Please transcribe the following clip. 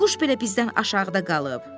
Bayquş belə bizdən aşağıda qalıb.